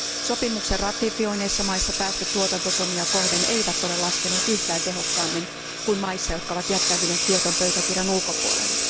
Sopimuksen ratifioinneissa maissa päästöt tuotantotonnia kohden eivät ole laskeneet yhtään tehokkaammin kuin maissa, jotka ovat jättäytyneet Kioton pöytäkirjan ulkopuolelle.